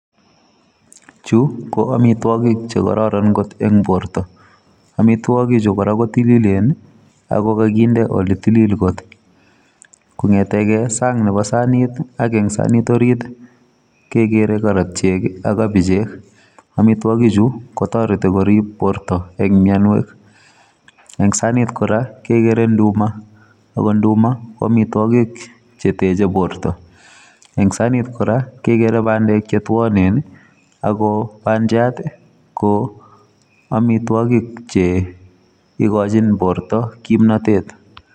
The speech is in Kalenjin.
Chu ko amitwagik chekororon kot eng borto. Amitwagichu kora kotililen ako kakinde oletilil kot. Kong'eteke sang nebo sanit ak eng sanit orit, kekere karatyek ak kabichek. Amitwakichu kotareti korib borto eng mianwek. Eng sanit kora kekere nduma ako nduma ko amitwagik cheteche borto. Eng sanit kora kekere bandek chetuonen, ako bandiat ko amitwagik che ikochin borto kimnatet.